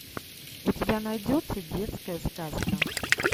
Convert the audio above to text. у тебя найдется детская сказка